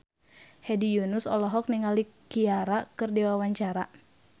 Hedi Yunus olohok ningali Ciara keur diwawancara